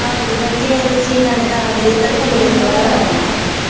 ਆਹੋ ਜੇ ਤੇ ਸੀਤਾਂ ਨੇ ਦੱਸ ਦੇਤਾ ਫੇਰ ਤਾਂ ਏਥੋਂ ਕਰਵਾ ਲੈਣਾ,